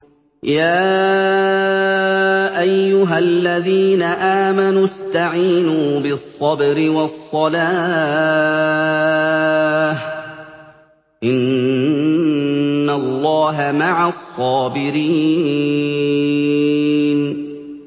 يَا أَيُّهَا الَّذِينَ آمَنُوا اسْتَعِينُوا بِالصَّبْرِ وَالصَّلَاةِ ۚ إِنَّ اللَّهَ مَعَ الصَّابِرِينَ